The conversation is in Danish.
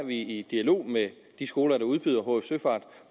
i dialog med de skoler der udbyder hf søfart